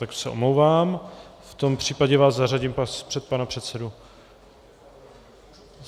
Tak se omlouvám, v tom případě vás zařadím před pana předsedu...